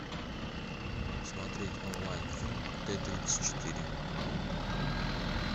смотреть онлайн фильм т тридцать четыре